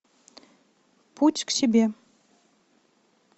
путь к себе